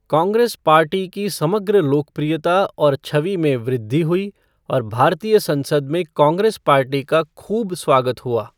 Congress party की समग्र लोकप्रियता और छवि में वृद्धि हुई और भारतीय संसद में कांग्रेस पार्टी का खूब स्वागत हुआ।